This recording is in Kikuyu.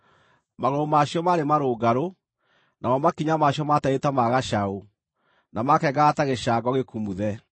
Magũrũ ma cio maarĩ marũngarũ; namo makinya ma cio maatariĩ ta ma gacaũ, na maakengaga ta gĩcango gĩkumuthe.